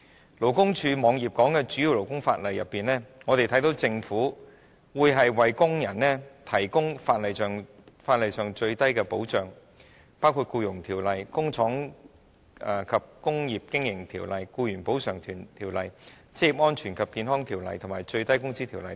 在勞工處網頁內提及的主要勞工法例當中，我們看到政府會為工人提供法例上最低的保障，包括《僱傭條例》、《工廠及工業經營條例》、《僱員補償條例》、《職業安全及健康條例》、《最低工資條例》等。